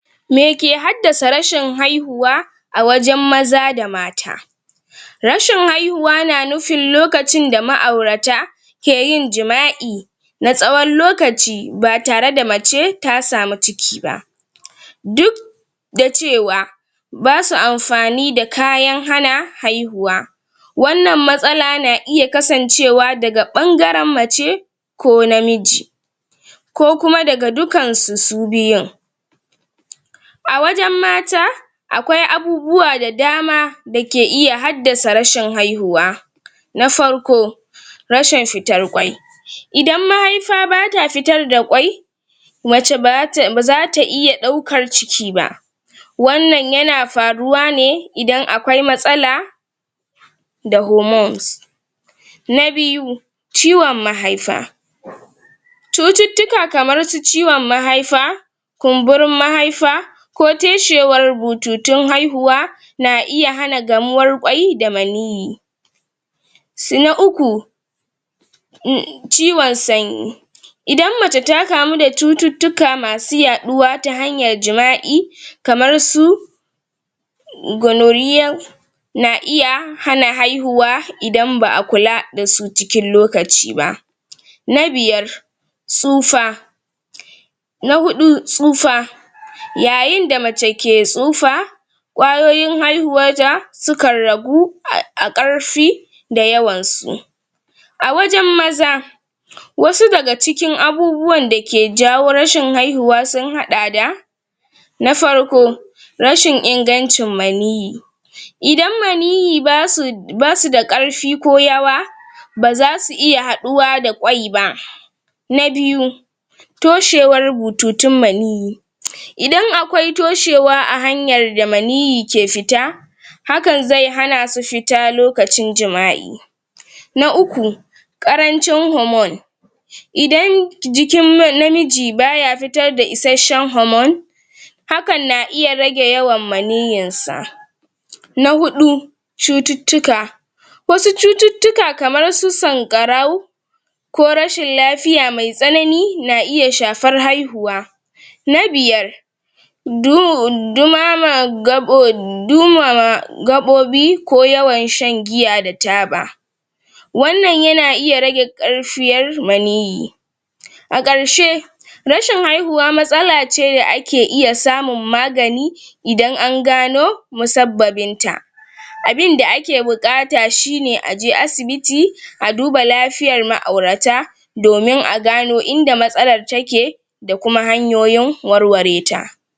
Meke haddasa rashin haihuwa a wajen maza da mata Rashin haihuwa na nufin lokacin da ma'aurata ke yin jima'i na tsawon lokaci, batare da mace ta samu ciki ba duk da cewa basu amfani da kayan hana haihuwa Wannan matsala na iya kasancewa daga ɓangaren mace ko namiji ko kuma daga dukansu, su biyun A wajen mata akwai abubuwa da dama dake iya haddasa rashin haihuwa Na farko rashin fitar ƙwai Idan mahaifa bata fitar da ƙwai mace bazata, bazata iya ɗaukar ciki ba Wannan yana faruwa ne idan akwai matsala da hormones Na biyu Ciwon mahaifa Cututtuka kamar su ciwon mahaifa kumburin mahaifa ko toshewar bututun haihuwa na iya hana gamuwar ƙwai da maniyyi s? na uku [um]ciwon sanyi Idan mace ta kamu da cututtuka masu yaɗuwa ta hanyar jima'i kamar su gonorrhoea na iya hana haihuwa idan ba a kula dasu cikin lokaci ba Na biyar Tsufa Na huɗu, tsufa Yayinda mace ke tsufa ƙwayoyin haihuwar ta sukan ragu a,a ƙarfi da yawan su A wajen maza wasu daga cikin abubuwan dake jawo rashin haihuwa sun haɗa da na farko rashin ingancin maniyyi idan maniyyi basu, basu da ƙarfi ko yawa bazasu iya haɗuwa da ƙwai ba Na biyu toshewar bututun maniyyi Idan akwai toshewa a hanyar da maniyyi ke fita hakan zai hanasu fita lokacin jima'i Na uku ƙarancin hormone Idan jikin namiji baya fitarda isashshen hormone hakan na iya rage yawan maniyyin sa Na huɗu cututtuka Wasu cututtuka kamar su sanƙarau ko rashin lafiya mai tsanani, na iya shafar haihuwa Na biyar du dumama gaɓo dumama gaɓoɓi, ko yawan shan giya da taba wannan yana iya rage ƙarfiyar maniyyi A ƙarshe rashin haihuwa matsala ce da ake iya samun magani idan an gano musabbabin ta abinda ake buƙata shine aje asibiti, a duba lafiyar ma'aurata domin a gano inda matsalar take da kuma hanyoyin warware ta.